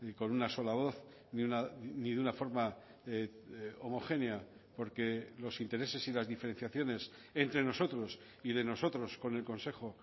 con una sola voz ni de una forma homogénea porque los intereses y las diferenciaciones entre nosotros y de nosotros con el consejo